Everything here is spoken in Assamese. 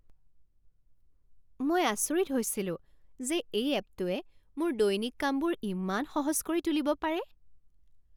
মই আচৰিত হৈছিলো যে এই এপটোৱে মোৰ দৈনিক কামবোৰ ইমান সহজ কৰি তুলিব পাৰে।